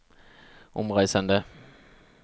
omreisende